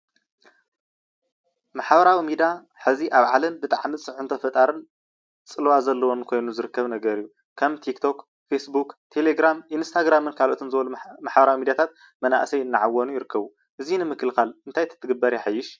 ማሕበራዊ ሚድያ ደቂ ሰባት መራኸቢ ኮይኖም ከም ተክቶክ፣ ፌስቡክ ዝኣመሰሉ እዮም።